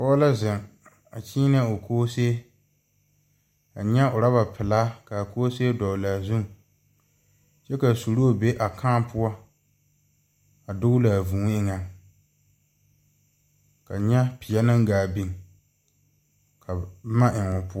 Pɔge la zeŋ a kyeenɛ o koosee. Ka N nyɛ oraba pelaa ka a koosee dɔgele a zuŋ kyɛ ka a suroo be a kãã poɔ a dogele a vũũ eŋɛŋ ka n nyɛ peɛ naŋ gaa biŋ ka boma eŋ o poɔŋ.